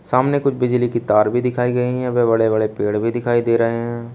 सामने कुछ बिजली की तार भी दिखाई गई हैं वे बड़े बड़े पेड़ भी दिखाई दे रहे हैं।